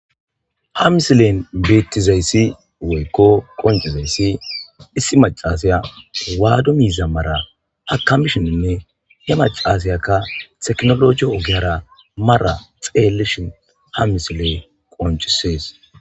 ha misilen beettizayssi woykko qoncizayssi issi macasiya waado miiza mara akamishininne he macasiyakka teknolojiya ogeyara mara xeellishin ha misiley qoncisees.